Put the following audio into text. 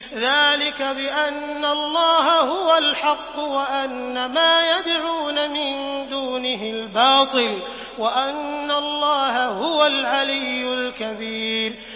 ذَٰلِكَ بِأَنَّ اللَّهَ هُوَ الْحَقُّ وَأَنَّ مَا يَدْعُونَ مِن دُونِهِ الْبَاطِلُ وَأَنَّ اللَّهَ هُوَ الْعَلِيُّ الْكَبِيرُ